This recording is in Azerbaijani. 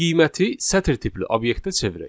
Qiyməti sətir tipli obyektə çevirək.